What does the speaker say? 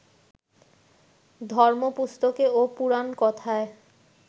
ধর্মপুস্তকে ও পুরাণকথায়